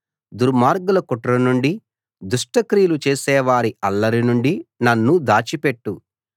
దుర్మార్గుల కుట్ర నుండి దుష్టక్రియలు చేసేవారి అల్లరి నుండి నన్ను దాచిపెట్టు